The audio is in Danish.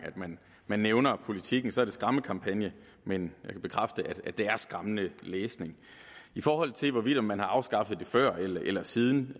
man man nævner politikken får er skræmmekampagne men jeg kan bekræfte at det er skræmmende læsning i forhold til om man har afskaffet det før eller siden